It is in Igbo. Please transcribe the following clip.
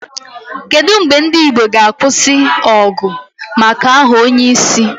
Kedu mgbe ndị Igbo ga-akwụsị ọgụ maka aha onyeisi?